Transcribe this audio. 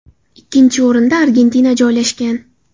Ikkinchi o‘rinda Argentina joylashgan.